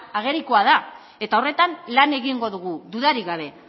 agerikoa da eta horretan lan egingo dugu dudarik gabe